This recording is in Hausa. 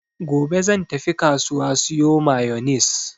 Gobe zan tafi kasuwa siyo mayonis.